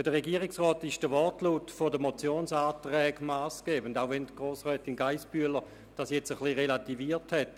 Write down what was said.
Für den Regierungsrat ist der Wortlaut der Motionsanträge massgebend, auch wenn Grossrätin Geissbühler diesen jetzt etwas relativiert hat.